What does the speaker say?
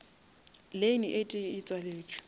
lane e tee e tšwaletše